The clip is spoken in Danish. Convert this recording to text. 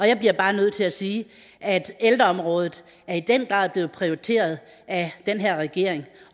jeg bliver bare nødt til sige at ældreområdet i den grad er blevet prioriteret af den her regering